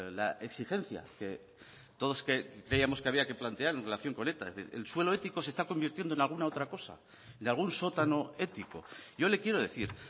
la exigencia que todos creíamos que había que plantearnos en relación con eta es decir el suelo ético se está convirtiendo en alguna otra cosa de algún sótano ético yo le quiero decir